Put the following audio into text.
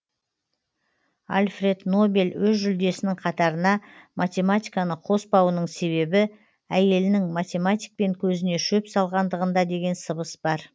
альфред нобель өз жүлдесінің қатарына математиканы қоспауының себебі әйелінің математикпен көзіне шөп салғандығында деген сыбыс бар